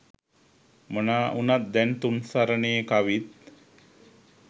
මොනා වුණත් දැන් තුන් සරණේ කවිත්